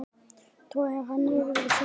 Togar hann niður til sín.